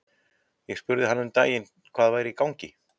Ég spurði hann um daginn hvað væri í gangi?